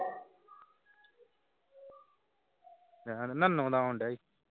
ਨਨਾੇ ਦਾ ਆਉ ਡਆ ਹੀ